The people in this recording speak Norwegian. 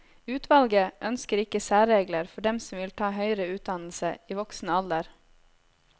Utvalget ønsker ikke særregler for dem som vil ta høyere utdannelse i voksen alder.